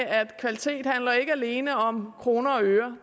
at kvalitet ikke alene handler om kroner og øre